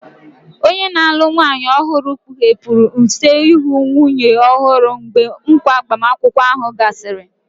Onye na-alụ nwanyị ọhụrụ kpughepụrụ use ihu nwunye ọhụrụ mgbe nkwa agbamakwụkwọ ahụ gasịrị.